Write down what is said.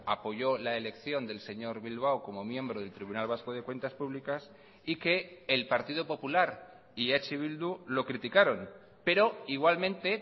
apoyó la elección del señor bilbao como miembro del tribunal vasco de cuentas públicas y que el partido popular y eh bildu lo criticaron pero igualmente